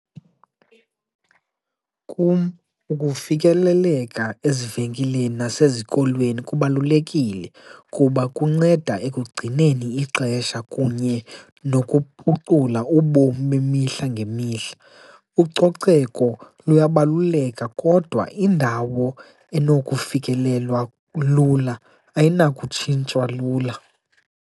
Kum ukufikeleleka ezivenkileni nasezikolweni kubalulekile kuba kunceda ekugcineni ixesha kunye nokuphukucula ubomi bemihla ngemihla. Ucoceko luyabaluleka kodwa indawo enokufikelelwa lula ayinakutshintshwa lula.